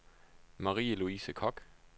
Marie-Louise Kock